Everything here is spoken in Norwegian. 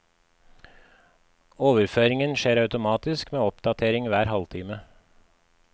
Overføringen skjer automatisk med oppdatering hver halvtime.